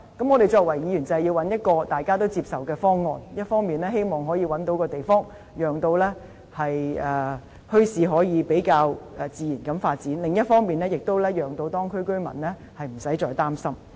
我們作為議員便是要尋求大家也接受的方案，一方面希望可以覓得地方，讓墟市可以比較自然地發展；另一方面，也可讓當區居民無須再擔心。